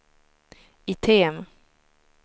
item